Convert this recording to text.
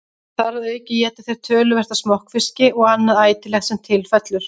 Þar að auki éta þeir töluvert af smokkfiski og annað ætilegt sem til fellur.